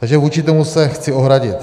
Takže vůči tomu se chci ohradit.